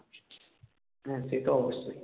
হ্যাঁ সে তো অবশ্যই